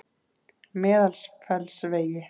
Meðalfellsvegi